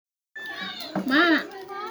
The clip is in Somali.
Sababta cudurka Kawasaki lama garanayo.